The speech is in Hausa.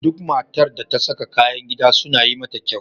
Duk matar da ta saka kayan gida suna yi mata kyau.